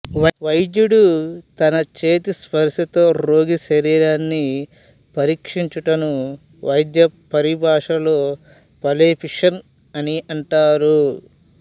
వైద్యుడు తన చేతి స్పర్ష తో రోగి శరీరాన్ని పరీక్షించుటను వైద్య పరిభాషలో పాల్పేషన్ అని అంటారు